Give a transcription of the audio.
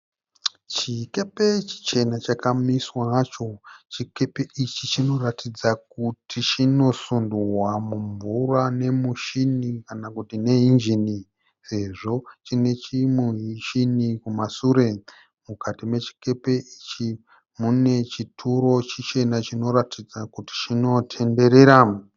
Chikepe chichena chakamiswa hacho. Chikepe ichi chinoratidza kuti chinosundwa mumvura nemushini kana kuti neinjini sezvo chine chimushini kumashure. Mukati mechikepe ichi mune chituro chichena chinoratidza kuti chinotenderera.